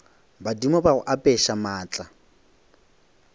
badimo ba go apeša maatla